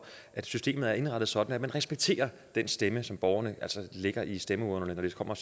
at systemet er indrettet sådan at vi respekterer den stemme som borgerne altså lægger i stemmeurnerne når de kommer